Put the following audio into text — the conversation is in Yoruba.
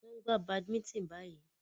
Wọ́n ń gbà badminton báyìí.